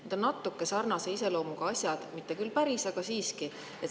Need on natuke sarnase iseloomuga asjad, mitte küll päris, aga siiski.